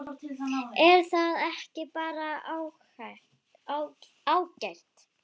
Er það ekki bara ágætt?